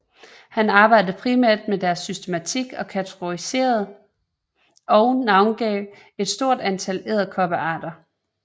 Han arbejdede primært med deres systematik og kategoriseret og navngav et stort antal edderkoppearter